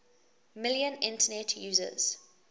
million internet users